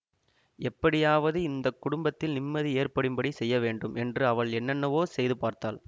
எப்படியாவது இந்த குடும்பத்தில் நிம்மதி ஏற்படும்படி செய்யவேண்டும் என்று அவள் என்னென்னவோ செய்து பார்த்தாள்